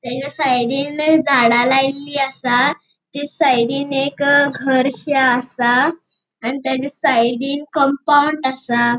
तेजा साइडीन झाड़ा लायल्ली आसा तेच साइडीन एक घरशे आसाआणि तेजा साइडीन कम्पाउन्ड आसा.